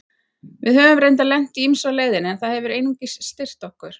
Við höfum reyndar lent í ýmsu á leiðinni en það hefur einungis styrkt okkur.